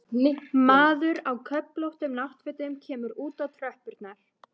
Maður á köflóttum náttfötum kemur út á tröppurnar.